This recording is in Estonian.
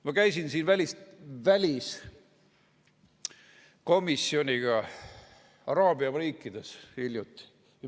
Ma käisin hiljuti väliskomisjoniga araabia riikides.